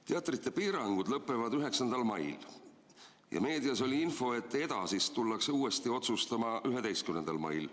Teatrite piirangud lõpevad 9. mail ja meedias oli info, et edasist arutatakse uuesti 11. mail.